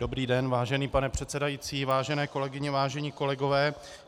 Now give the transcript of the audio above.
Dobrý den, vážený pane předsedající, vážené kolegyně, vážení kolegové.